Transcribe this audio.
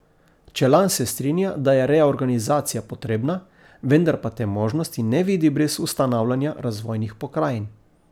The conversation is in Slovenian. Čelan se strinja, da je reorganizacija potrebna, vendar pa te možnosti ne vidi brez ustanavljanja razvojnih pokrajin.